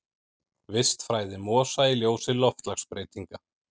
Vistfræði mosa í ljósi loftslagsbreytinga.